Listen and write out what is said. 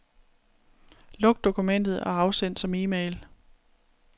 Luk dokumentet og afsend som e-mail.